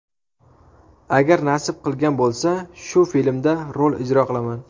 Agar nasib qilgan bo‘lsa, shu filmda rol ijro qilaman.